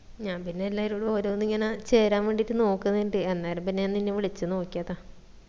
ഞാൻ പിന്നെ എല്ലാരോടും ഓരോന്ന് ഇങ്ങന ചേരാൻ വേണ്ടിയിട്ട് നോക്കിനിണ്ട് അന്നേരം പിന്ന നാ നിന്നെ വിളിച്ച നോക്കിയതാ